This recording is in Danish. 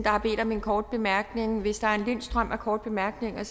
har bedt om en kort bemærkning hvis der er en lind strøm af korte bemærkninger